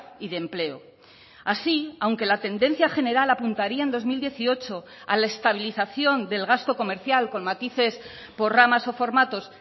y de empleo así aunque la tendencia general apuntaría en dos mil dieciocho a la estabilización del gasto comercial con matices por ramas o formatos